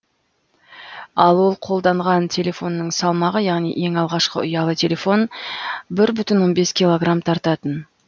ал ол қолданған телефонның салмағы яғни ең алғашқы ұялы телефон бір бүтін он бес килограмм тартатын